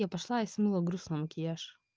я пошла и смыла грустный макияж